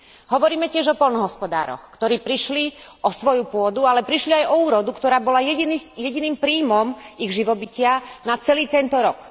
Hovoríme tiež o poľnohospodároch, ktorí prišli o svoju pôdu, ale prišli aj o úrodu, ktorá bola jediným príjmom ich živobytia na celý tento rok.